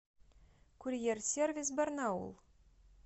курьер сервис барнаул